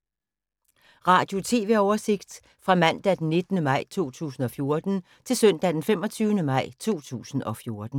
Radio/TV oversigt fra mandag d. 19. maj 2014 til søndag d. 25. maj 2014